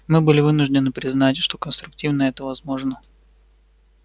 мы были вынуждены признать что конструктивно это возможно